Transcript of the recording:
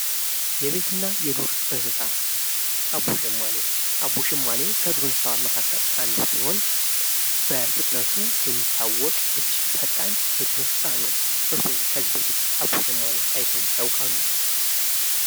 ነቤትና የዱር እንስሳት አቦሸማኔ አቡሸማኔ ከዱር እንስሳ መካከል አንዱ ሲሆን በፍጥነቱ የሚታወቅ እጅግ ፈጣን የዱር እንስሳት ነው። እርስዎ ከዚህ በፊት አቦሸማኔ አይተው ያውቃሉ?